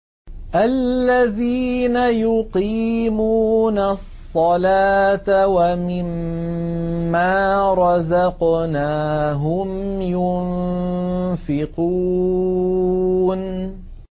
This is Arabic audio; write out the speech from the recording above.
الَّذِينَ يُقِيمُونَ الصَّلَاةَ وَمِمَّا رَزَقْنَاهُمْ يُنفِقُونَ